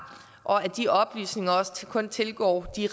og at de oplysninger også kun tilgår de